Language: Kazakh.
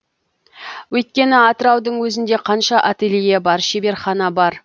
өйткені атыраудың өзінде қанша ателье бар шеберхана бар